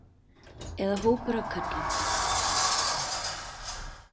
Eða hópur af körlum.